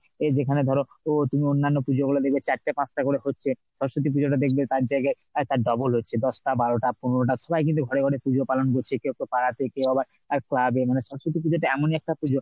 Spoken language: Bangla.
এই যেখানে ধরো তুমি অন্যান্য পুজো গুলো দেখবে চারটে পাঁচটা করে হচ্ছে। সরস্বতী পুজটা দেখবে তার জায়গায় তার double হচ্ছে দশটা, বারোটা, পনেরোটা সবসময় কিন্তু ঘরে ঘরে পূজো পালন করছে, কেউ পাড়ায়, কেউ আবার ক্লাবে মানে সরস্বতী পুজোটা এমন একটা পুজো